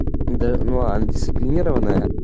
да ну она дисциплинированая